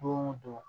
Don o don